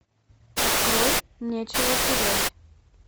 открой нечего терять